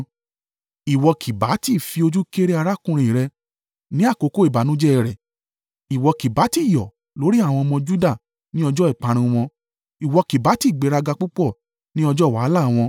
Ìwọ kì bá tí fi ojú kéré arákùnrin rẹ, ní àkókò ìbànújẹ́ rẹ̀ ìwọ kì bá tí yọ̀ lórí àwọn ọmọ Juda, ní ọjọ́ ìparun wọn ìwọ kì bá tí gbéraga púpọ̀ ní ọjọ́ wàhálà wọn.